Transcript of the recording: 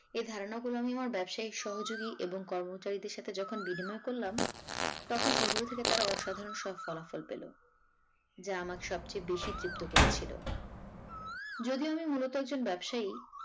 এ ধারনা গুলো আমি আমার ব্যবসায়িক সহযোগি এবং কর্মচারীদের সাথে যখন বিনিময় করলাম তখন এগুলো থেকে তারা অসাধারন সব ফলাফল পেল যা আমাকে সবচেয়ে বেশি তৃপ্ত করেছিল যদিও আমি মূলত একজন ব্যবসায়ি।